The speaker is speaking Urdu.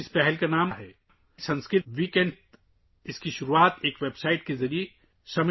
ان کی پہل کا نام ہے – سنسکرت ویک اینڈ! اس کی شروعات سماشتی گوبی جی نے ایک ویب سائٹ کے ذریعے کی ہے